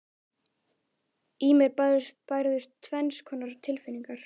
Í mér bærðust tvenns konar tilfinningar.